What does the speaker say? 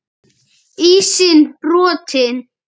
Ísinn brotinn